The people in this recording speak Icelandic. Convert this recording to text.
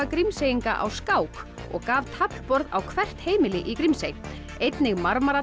Grímseyinga á skák og gaf taflborð á hvert heimili í Grímsey einnig